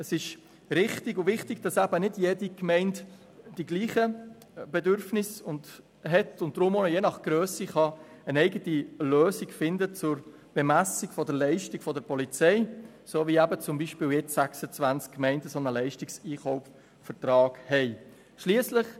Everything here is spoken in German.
Es ist richtig und wichtig, dass nicht jede Gemeinde dieselben Bedürfnisse hat und dass die Gemeinde je nach Grösse eine eigene Lösung zur Bemessung der Leistung der Polizei finden kann, so wie eben nun 26 Gemeinden einen Leistungseinkaufsvertrag haben.